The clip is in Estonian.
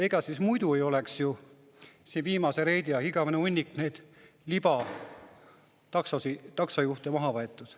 Ega siis muidu ei oleks siin viimase reidi ajal igavene hunnik neid libataksojuhte maha võetud.